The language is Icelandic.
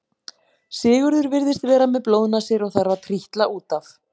Sigurður virðist vera með blóðnasir og þarf að trítla út af.